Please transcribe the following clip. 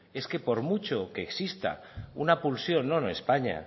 es que por mucho que exista una pulsión no en españa